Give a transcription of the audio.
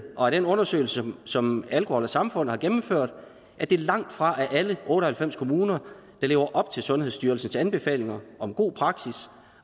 og af den undersøgelse som alkohol samfund har gennemført at det langtfra er alle otte og halvfems kommuner der lever op til sundhedsstyrelsens anbefalinger om god praksis